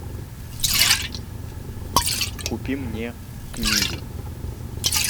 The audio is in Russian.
купи мне книга